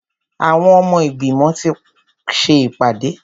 Àwọn ọmọ ìgbìmọ̀ ti ṣe ìpàdé.